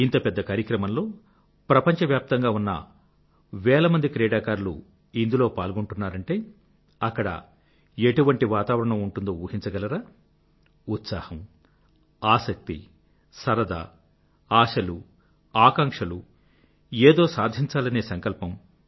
ఇంత పెద్ద కార్యక్రమంలో ప్రపంచవ్యాప్తంగా ఉన్న వేల కొద్దీ క్రీడాకారులు ఇందులో పాల్గొంటున్నారంటే అక్కడ ఎటువంటి వాతావరణం అక్కడ ఉంటుందో ఊహించగలరా ఉత్సాహం ఆసక్తి సరదా ఆశలు ఆకాంక్షలు ఏదో సాధించాలనే సంకల్పం